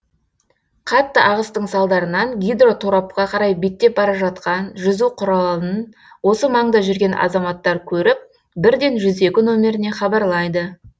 қатты ағыстың салдарынан гидроторапқа қарай беттеп бара жатқан жүзу құралын осы маңда жүрген азаматтар көріп бірден жүз екі нөміріне хабарлайды